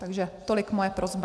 Takže tolik moje prosba.